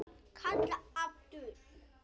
Kalla aftur.